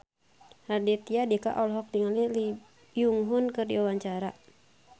Raditya Dika olohok ningali Lee Byung Hun keur diwawancara